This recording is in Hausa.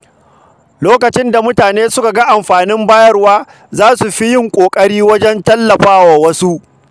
Lokacin da mutane suka ga amfanin bayarwa, za su fi yin ƙoƙari wajen tallafawa wasu.